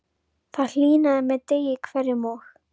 Það hlýnaði með degi hverjum og